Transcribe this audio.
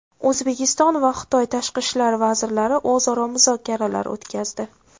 O‘zbekiston va Xitoy tashqi ishlar vazirlari o‘zaro muzokaralar o‘tkazdi.